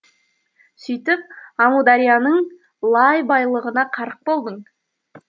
сүйтіп амударияның лай байлығына қарық болдың